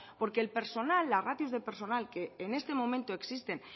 porque el personal las ratios de personal que en este momento existen